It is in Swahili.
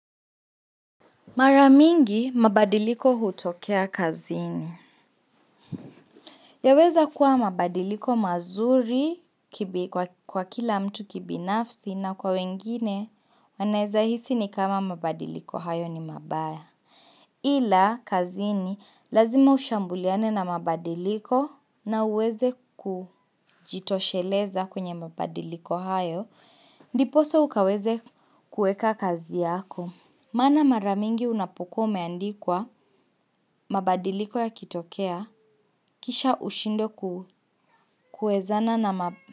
Mara nyingi mabadiliko hutokea kazini. Yaweza kuwa mabadiliko mazuri kwa kila mtu kibinafsi na kwa wengine. Wanaweza hisi ni kama mabadiliko hayo ni mabaya. Ila kazini lazima ushambuliane na mabadiliko, na uweze kujitosheleza kwenye mabadiliko hayo. Ndiposa ukaweze kuweka kazi yako. Mana mara nyingi unapokuwa umeandikwa, mabadiliko yakitokea, kisha ushindwe kuwezana na.